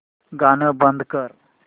गाणं बंद कर